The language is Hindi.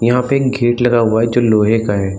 यहाँ पे एक गेट लगा हुआ है जो लोहे का है।